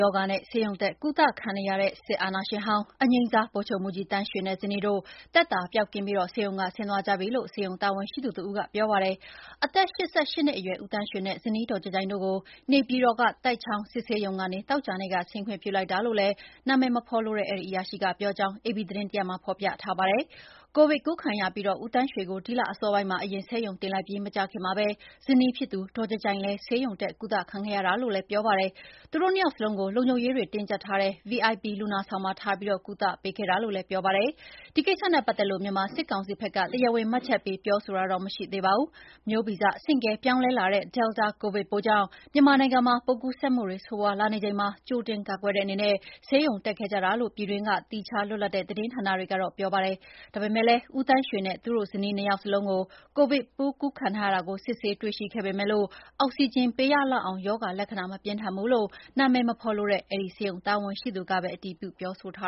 ရောဂါနဲ့ ဆေးရုံးတက်ကုသခံနေတဲ့ စစ်အာဏာရှင်ဟောင်း၊ အငြိမ်းစား ဗိုလ်ချုပ်မှူးကြီးသန်းရွှေနဲ့ ဇနီးတို့ သက်သာပျောက်ကင်းပြီး ဆေးရုံဆင်းသွားကြပြီလို့ ဆေးရုံတာဝန်ရှိသူတဦးက ပြောပါတယ်။ အသက် ၈၈ နှစ်အရွယ် ဦးသန်းရွှေနဲ့ ဇနီးဒေါ်ကြိုင်ကြိုင်တို့ကို နေပြည်တော်က သိုက်ချောင်းစစ်ဆေးရုံကနေ သောကြာနေ့က ဆင်းခွင့်ပြုလိုက်တာလို့လည်း နာမည်မဖော်လိုတဲ့ အဲဒီအရာရှိက ပြောကြောင်း အေပီသတင်းတရပ်မှာ ဖော်ပြထားပါတယ်။ ကိုဗစ်ကူးခံရပြီး ဦးသန်းရွှေကို ဒီလအစောပိုင်းမှာအရင် ဆေးရုံတင်လိုက်ပြီး မကြာခင်မှာပဲ ဇနီးဖြစ်သူ ဒေါ်ကြိုင်ကြိုင်လည်း ဆေးရုံတက် ကုသခံခဲ့ရတာလို့လည်းပြောပါတယ်။ သူတို့နှစ်ယောက်စလုံးကို လုံခြုံရေးတွေတင်းကျပ်ထားတဲ့ VIP လူနာဆောင်မှာ ထားပြီး ကုသပေးခဲ့တာလို့လည်းပြောပါတယ်။ ဒီကိစ္စနဲ့ပတ်သက်လို့ မြန်မာစစ်ကောင်စီဖက်က တရားဝင်မှတ်ချက်ပေးပြောဆိုတာတော့ မရှိသေးပါဘူး။ မျိုးဗီဇဆင့်ကဲပြောင်းလဲလာတဲ့ Delta ကိုဗစ်ပိုးကြောင့် မြန်မာနိုင်ငံမှာ ပိုးကူးစက်မှုတွေဆိုးရွားလာနေချိန်မှာ ကြိုတင်ကာကွယ်တဲ့အနေနဲ့ဆေးရုံတက်ခဲ့ကြတာလို့ ပြည်တွင်းက သီးခြားလွတ်လပ်တဲ့သတင်းဌာနတွေကတော့ ပြောကြပါတယ်။ ဒါပေမယ့်လည်း ဦးသန်းရွှေနဲ့ သူ့ဇနီးတို့ ၂ ယောက်စလုံး ကိုဗစ်ပိုးကူးခံထားရတာကို စစ်ဆေးတွေ့ရှိခဲ့ပေမယ့် အောက်ဆီဂျင်ပေးရလောက်အောင် ရောဂါလက္ခဏာမပြင်းထန်ဘူးလို့ နာမည်မဖော်လိုတဲ့အဲဒီဆေးရုံတာဝန်ရှိသူကပဲ အတည်ပြုပြောဆိုထာ